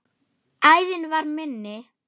Æðin var minni.